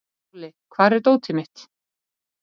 Tolli, hvar er dótið mitt?